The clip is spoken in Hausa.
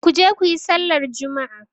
Ku je ku yi sallar juma'a!